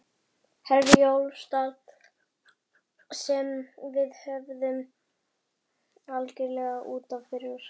Herjólfsdal sem við höfðum algjörlega út af fyrir okkur.